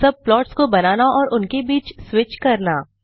सब प्लॉट्स को बनाना और उनके बीच स्विच करना